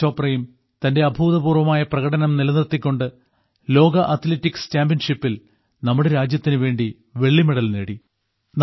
നീരജ് ചോപ്രയും തന്റെ അഭൂതപൂർവ്വമായ പ്രകടനം നിലനിർത്തിക്കൊണ്ട് ലോക അത്ലറ്റിക്സ് ചാമ്പ്യൻഷിപ്പിൽ നമ്മുടെ രാജ്യത്തിനുവേണ്ടി വെള്ളിമെഡൽ നേടി